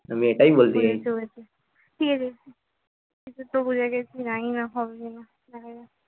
ঠিক আছে তো বুঝে গেছি জানিনা হবে কি না দেখা যাক